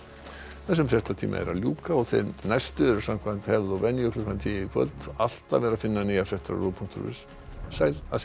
þessum fréttatíma er að ljúka og þeir næstu eru samkvæmt venju klukkan tíu í kvöld alltaf er að finna nýjar fréttir á ruv punktur is sæl að sinni